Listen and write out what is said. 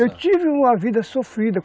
Eu tive uma vida sofrida.